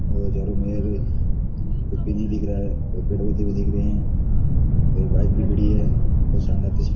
और चारो मेर कुछ भी नहीं दिख रहा है दिख रहे है और बाइक भी खड़ी है बहुत शानदार तस्वीर --